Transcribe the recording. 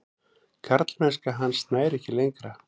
Karlmennska hans nær ekki lengra.